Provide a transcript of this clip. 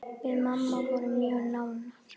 Við mamma vorum mjög nánar.